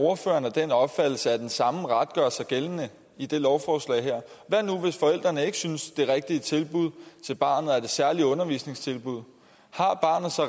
ordføreren af den opfattelse at den samme ret gør sig gældende i det lovforslag her hvad nu hvis forældrene ikke synes at det rigtige tilbud til barnet er det særlig undervisningstilbud